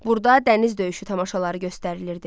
Burda dəniz döyüşü tamaşaları göstərilirdi.